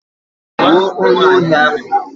Gbuo onyeohi ahụ!